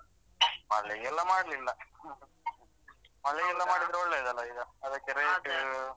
ಮಲ್ಲಿಗೆ ಎಲ್ಲ ಮಾಡ್ಲಿಲ್ಲಾ ಮಲ್ಲಿಗೆ ಎಲ್ಲ ಮಾಡಿದ್ರೆ ಒಳ್ಳೇದು ಅಲ ಈಗ ಅದಕ್ಕೆ rate .